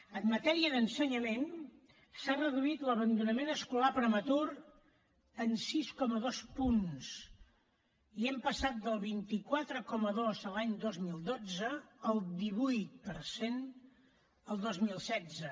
en matèria d’ensenyament s’ha reduït l’abandonament escolar prematur en sis coma dos punts i hem passat del vint quatre coma dos l’any dos mil dotze al divuit per cent el dos mil setze